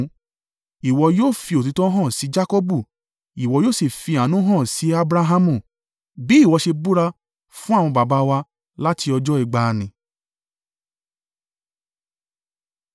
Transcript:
Ìwọ yóò fi òtítọ́ hàn sí Jakọbu ìwọ yóò sì fi àánú hàn sí Abrahamu, bí ìwọ ṣe búra fún àwọn baba wa láti ọjọ́ ìgbàanì.